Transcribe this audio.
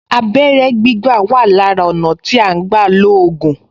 Abẹ́rẹ́ gbígbà wà lára ọ̀nà tí à ń gbà lo ògùn